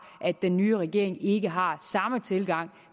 at den nye regering ikke har samme tilgang